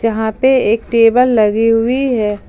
यहां पे एक टेबल लगी हुई है।